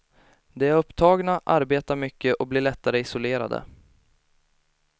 De är upptagna, arbetar mycket och blir lättare isolerade.